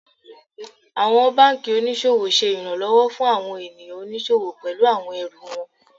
Àwọn banki oníṣòwò ṣe ìrànlọ́wọ́ fún àwọn ènìyàn oníṣòwò pẹlú àwọn ẹrù wọn.